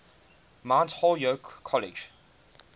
mount holyoke college